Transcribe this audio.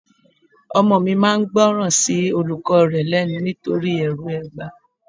Ọmọ mi máa ń gbóran sí olùkọ́ rẹ lẹ́nu nítorí ẹrù ẹgba.